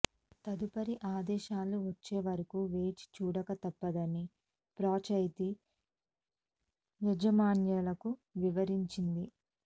తదుపరి ఆదేశాలు వచ్చే వరకు వేచి చూడక తప్పదని ఫ్రాంచైజీ యాజమాన్యాలకు వివరించింది